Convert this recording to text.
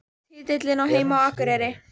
Titillinn á heima á Akureyri